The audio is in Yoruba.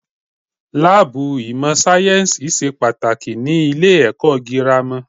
Láàbù ìmọ̀ sáyẹ́nsì ṣe pàtàkì ní ilé ẹ̀kọ́ gírámà.